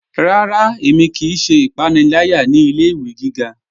Rárá, ẹ̀mi kíí ṣẹ́ ìpànìlàyà ní ilẹ̀-ìwé gígá.